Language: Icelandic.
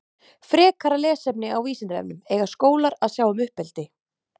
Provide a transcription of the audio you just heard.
Frekara lesefni á Vísindavefnum Eiga skólar að sjá um uppeldi?